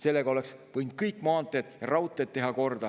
Sellega oleks võinud teha kõik maanteed ja raudteed korda.